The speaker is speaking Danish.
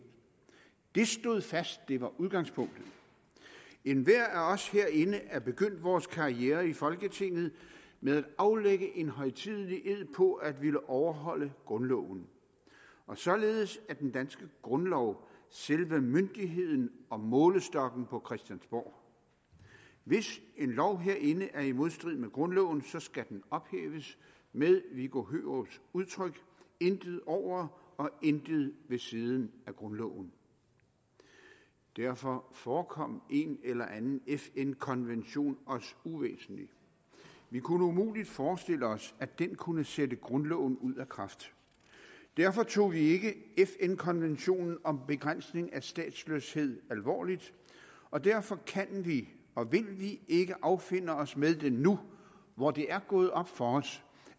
det stod fast det var udgangspunktet enhver af os herinde er begyndt vores karriere i folketinget med at aflægge en højtidelig ed på at ville overholde grundloven og således er den danske grundlov selve myndigheden og målestokken på christiansborg hvis en lov herinde er i modstrid med grundloven skal den ophæves med viggo hørups udtryk intet over og intet ved siden af grundloven derfor forekom en eller anden fn konvention også uvæsentlig vi kunne umuligt forestille os at den kunne sætte grundloven ud af kraft derfor tog vi ikke fn konventionen om begrænsning af statsløshed alvorligt og derfor kan vi og vil vi ikke affinde os med det nu hvor det er gået op for os